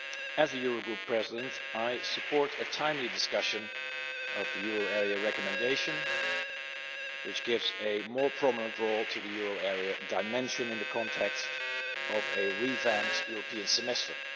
As the Eurogroup President, I support a timely discussion of the euro area recommendation which gives a more prominent role to the euro area dimension in the context of a revamped European Semester.